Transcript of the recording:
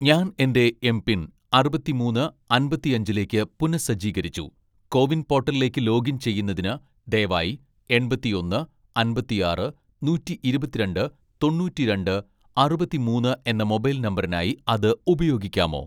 ഞാൻ എന്റെ എംപിൻ അറുപത്തിമൂന്ന് അമ്പത്തിയഞ്ചിലേക്ക് പുനഃസജ്ജീകരിച്ചു, കോവിൻ പോർട്ടലിലേക്ക് ലോഗിൻ ചെയ്യുന്നതിന് ദയവായി എൺപത്തിയൊന്ന് അമ്പത്തിയാറ് നൂറ്റിയിരുപത്തിരണ്ട്‍ തൊണ്ണൂറ്റിരണ്ട്‍ അറുപത്തിമൂന്ന് എന്ന മൊബൈൽ നമ്പറിനായി അത് ഉപയോഗിക്കാമോ